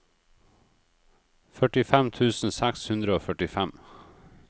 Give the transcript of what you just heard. førtifem tusen seks hundre og førtifem